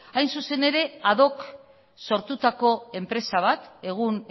hain zuzen ere ad hoc sortutako enpresa bat egun